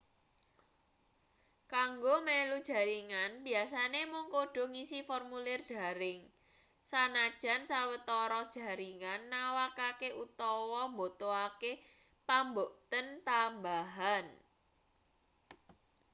kanggo melu jaringan biyasane mung kudu ngisi formulir daring sanajan sawetara jaringan nawakake utawa mbutuhake pambukten tambahan